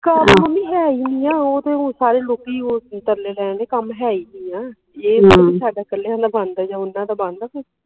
ਕੰਮ ਮੰਮੀ ਹੈ ਈ ਨਹੀਂ ਉਹ ਤੇ ਹੁਣ ਸਾਰੇ ਲੋਕੀ ਉਹ ਤਰਲੇ ਲੈਣ ਦੇ ਕੰਮ ਹੈ ਈ ਨਹੀਂ ਆ ਇਹ ਥੋੜੀ ਪੀ ਸਾਡਾ ਇਕੱਲਿਆਂ ਦਾ ਬੰਦ ਜਾ ਓਹਨਾ ਦਾ ਬੰਦ